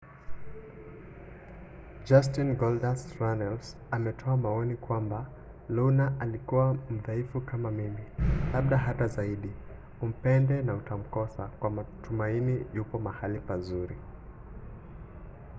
justin goldust” runnels ametoa maoni kwamba luna alikuwa mdhaifu kama mimi labda hata zaidi umpende na utamkosa kwa matumaini yupo mahali pazuri.